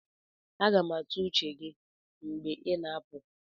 Aga m atụ uche gị mgbe ị na-apụ